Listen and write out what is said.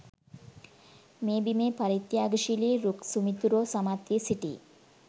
මේ බිමේ පරිත්‍යාගශීලි රුක් සුමිතුරෝ සමත් වී සිටි යි.